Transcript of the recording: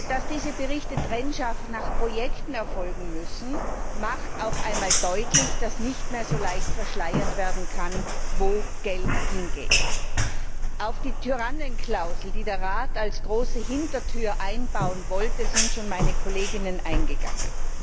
Dass diese Berichte trennscharf nach Projekten erfolgen müssen, macht auch einmal deutlich, dass nicht mehr so leicht verschleiert werden kann, wo Geld hingeht. Auf die Tyrannenklausel, die der Rat als große Hintertür einbauen wollte, sind schon meine Kolleginnen eingegangen.